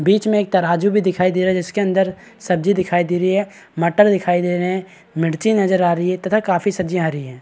बीच में एक तराजू भी दिखाई दे रहा है जिसके अंदर सब्जी भी दिखाई दे रही हैं मटर दिखाई दे रहे हैं मिर्ची नजर आ रही हैं तथा काफी सब्जी हरी हैं।